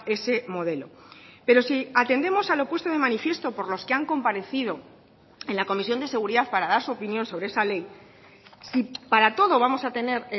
ese modelo pero si atendemos a lo puesto de manifiesto por los que han comparecido en la comisión de seguridad para dar su opinión sobre esa ley si para todo vamos a tener